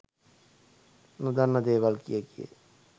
නොදන්න දේවල් කිය කිය